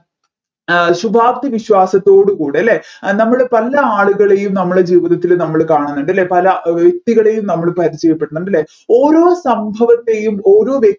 ശുഭാപ്തി വിശ്വാസത്തോട് കൂടെ അല്ലെ നമ്മൾ പല ആളുകളെയും നമ്മളെ ജീവിതത്തിൽ നമ്മൾ കാണുന്നുണ്ട് അല്ലെ പല വ്യക്തികളെയും നമ്മൾ പരിചയപെടുന്നുണ്ട് അല്ലെ ഓരോ സംഭവത്തെയും ഓരോ വ്യക്തി